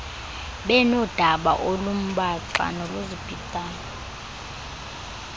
benoodaba olumbaxa noluzibhidayo